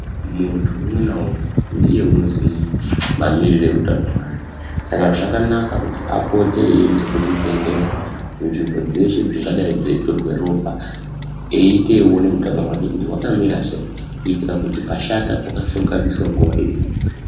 Muntu umwe naumwe ndiye anoziya Mamiriro ehutano hwake Saka zvakanaka akone kupota eienda kuzvibhedhlera kana nzvimbo dzeshe dzingadai dzeitorwa ropa eita eiona kuti hutano hwake hwakamira sei kuitira kuti pashata Pokasira kugadzirwa nguwa iripo.